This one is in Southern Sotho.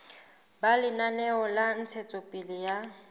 ba lenaneo la ntshetsopele ya